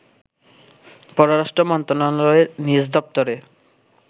পররাষ্ট্র মন্ত্রণালয়ের নিজ দপ্তরে